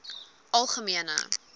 algemene